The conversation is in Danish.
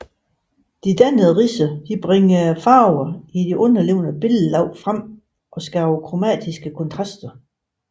De dannede ridser bringer farverne i de underliggende billedlag frem og skaber kromatiske kontraster